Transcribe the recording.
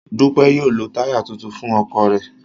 Dupe yóò lo taya tuntun naa fun ọkọ rẹ